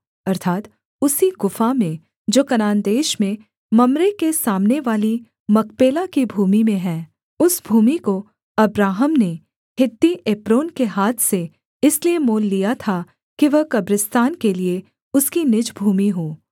अर्थात् उसी गुफा में जो कनान देश में मम्रे के सामने वाली मकपेला की भूमि में है उस भूमि को अब्राहम ने हित्ती एप्रोन के हाथ से इसलिए मोल लिया था कि वह कब्रिस्तान के लिये उसकी निज भूमि हो